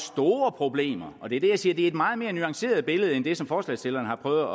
store problemer og det er det jeg siger det er et meget mere nuanceret billede end det som forslagsstillerne har prøvet